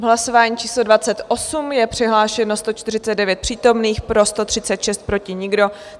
V hlasování číslo 28 je přihlášeno 149 přítomných, pro 136, proti nikdo.